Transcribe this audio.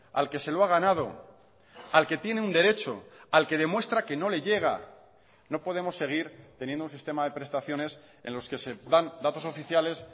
al que se lo ha ganado al que tiene un derecho al que demuestra que no le llega no podemos seguir teniendo un sistema de prestaciones en los que se dan datos oficiales